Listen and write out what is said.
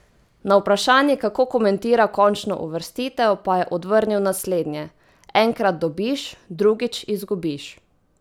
Na vprašanje, kako komentira končno uvrstitev, pa je odvrnil naslednje: "Enkrat dobiš, drugič izgubiš.